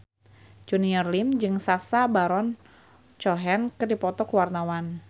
Junior Liem jeung Sacha Baron Cohen keur dipoto ku wartawan